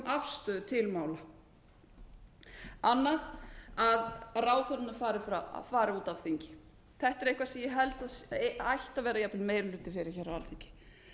afstöðu til mála annað er að ráðherrarnir fari út af þingi þetta er eitthvað sem ég held að ætti að vera jafnvel meiri hluti fyrir á alþingi